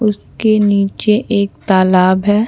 उसके नीचे एक तालाब है।